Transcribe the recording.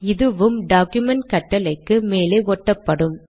இதுவும் டாக்குமென்ட் கட்டளைக்கு மேலே ஒட்டப்படும்